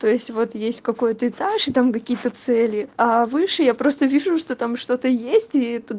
то есть вот есть какой-то этаж и там какие-то цели а выше я просто вижу что там что-то есть и туда